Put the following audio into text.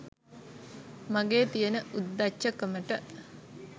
මගෙ තියන උද්දච්ච කමට.